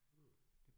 Mh